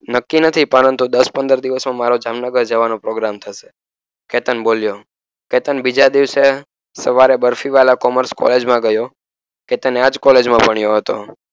નક્કી નથી પરંતુ દસ પંદર દિવસોમા મારો જામનગર જવાનો પ્રોગ્રામ થસે કેતન બોલ્યો કેતન બીજા દિવસે સવારે બરફીવાલા કોમર્સે કોલેજ માં ગ્યો કેતન આજ કોલેજમાં ભણ્યો હતો